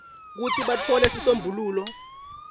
kutsi batfole sisombululo